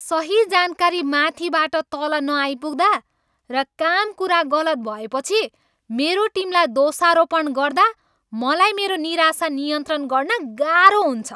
सही जानकारी माथिबाट तल नआइपुग्दा र काम कुरा गलत भएपछि मेरो टिमलाई दोषारोपण गर्दा मलाई मेरो निराशा नियन्त्रण गर्न गाह्रो हुन्छ।